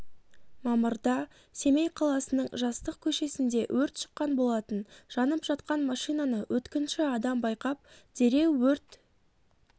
мамырда семей қаласының жастық көшесінде өрт шыққан болатын жанып жатқан машинаны өткінші адам байқап дереу өрт